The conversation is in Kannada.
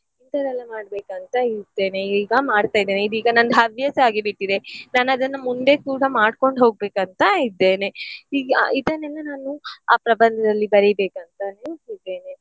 ಇಂತದೆಲ್ಲ ಮಾಡ್ಬೇಕಂತ ಇರ್ತೇನೆ ಈಗ ಮಾಡ್ತಿದ್ದೇನೆ ಇದೀಗ ನಂದ್ ಹವ್ಯಾಸ ಆಗಿ ಬಿಟ್ಟಿದೆ ನಾನ್ ಅದನ್ನ ಮುಂದೆ ಕೂಡ ಮಾಡ್ಕೊಂಡು ಹೋಗ್ಬೇಕಂತ ಇದ್ದೇನೆ. ಈಗ ಇದನ್ನೆಲ್ಲಾ ನಾನು ಆ ಪ್ರಬಂಧದಲ್ಲಿ ಬರಿಬೇಕಂತನೂ ಇದ್ದೇನೆ.